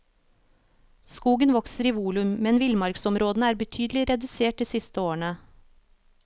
Skogen vokser i volum, men villmarksområdene er betydelig redusert de siste årene.